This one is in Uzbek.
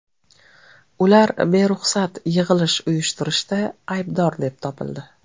Ular beruxsat yig‘ilish uyushtirishda aybdor deb topildi.